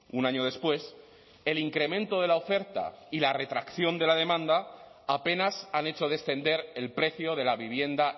un año después el incremento de la oferta y la retracción de la demanda apenas han hecho descender el precio de la vivienda